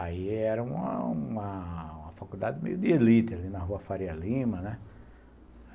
Aí era uma uma faculdade meio de elite, ali na rua Faria Lima.